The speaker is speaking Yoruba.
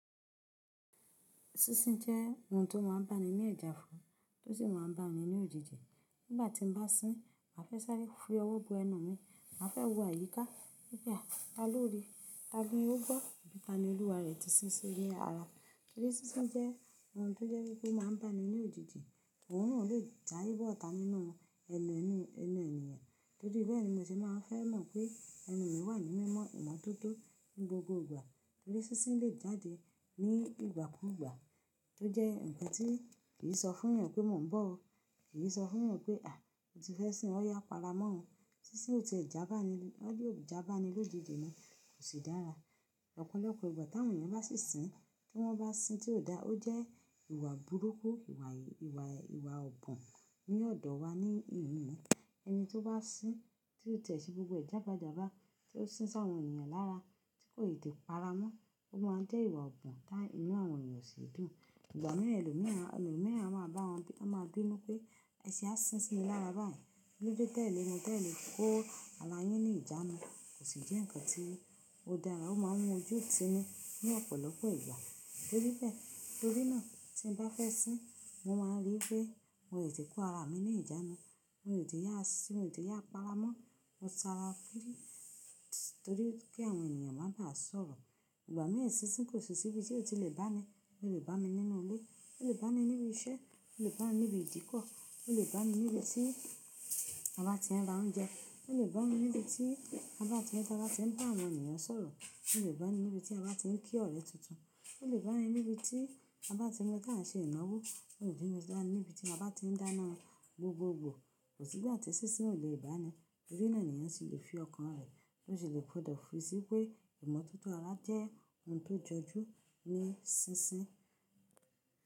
Sísín jẹ́ oun tí ó máa ń bá ni ní ẹja fún, tó sì máa ń bá ni ní ojiji Nígbà tí n bá sín, màá fẹ́ sáré fún owó bó ẹnu mi, màá fẹ́ wù àyíká. Hun gba, ta ló ríi? Ti ó gbọ́ tani olúwa rè ti sísín ni ara. Torí sísín jẹ́ oun tí ó jẹ́ wípé ó máa ń bá ni ní ojiji, òun náà ó lè sá bọ́ ọta nínú ẹnu ẹnu ẹnu ènìyàn. Torí bẹ́ẹ̀ ni mo se máa ń fẹ́ mọ̀ pé ẹnu mi wà ní mímọ̀ ìmọ́tótó ní gbogbo ìgbà. Torí sísín lè jáde ní ìgbàkúgbà tó jẹ́ ǹkan tí kì í sọ fún èèyàn pé mò ń bọ̀ o, kì í sọ fún èèyàn pé à, mo ti fẹ́ sín, ọ́ yà para mó. Sísín ò tí ì jábà ni, yóò jábà ni lójijì ni kò sì dára. Ọ̀pọ̀lọpọ̀ ìgbà tí àwọn èèyàn bá sì sín, tí wọ́n bá sín tí ò da, ó jẹ́ ìwà burúkú, ìwà ìwà ìwà ọ̀bùn ní ọ̀dọ̀ wa ní ìhìn. Ẹni tí ó bá sín tí ò tẹ̀sí gbogbo è jábájábá tí ó sín sáwọn èèyàn lára tí kò ì tí ì para mọ́, ó máa ń jẹ́ ìwà ọ̀bùn ti inú àwọn èèyàn sì dùn. Ìgbà mí ẹlòmíràn ẹlòmíràn a máa bá wọn bí wọ́n ma bínú pé, ẹṣe á sín sí mi lára báyìí. Kilodẹ tẹ̀lé wọn tẹ̀lé kó ara yín ní ìjánu, kò sì jẹ́ ǹkan tí ó dára. Ó máa ń mú ojú ti ni ní ọ̀pọ̀lọpọ̀ ìgbà. Torí bẹ́ẹ̀ torí náà tí n bá fẹ́ sín, mo máa ń rí pé n ò ì tí kó ara mi ní ìjánu, n ò ì tí yá sín, n ò tí yá para mọ́, mo ta ara giri torí kí àwọn èèyàn má dàá sọ̀rọ̀. Ìgbà mí ẹ sísín kò sì síbi tí ò tí lè bá ni. Ó lè bá mi nínú ilé, ó lè bá mi níbi iṣẹ́, ó lè bá mi níbi ìdíkọ̀, ó lè bá mi níbi tí a bá ti ń ra oúnjẹ, ó lè bá mi níbi tí a bá ti ń dá, a bá ti ń bá àwọn èèyàn sọ̀rọ̀, ó lè bá mi níbi tí a bá ti ń kí ọ̀rẹ́ tuntun, ó lè bá mi níbi tí a bá ti ń lọ tá ń ṣe ìnáwó, ó lè bí mi dá níbi tí a bá ti ń dáná gbogbogbò. Kò sí bí àti sísín ò lè bá ni. Torí náà èèyàn sì lè fi ọkàn rẹ̀, osì lè gbọdọ̀ fòrí sí pé ìmọ́tótó ara jẹ́ oun tó jọjú ní sísín.